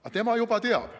Aga tema juba teab.